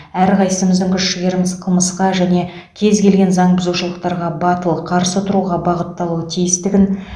әрқайсымыздың күш жігеріміз қылмысқа және кез келген заң бұзушылықтарға батыл қарсы тұруға бағытталуы тиістігін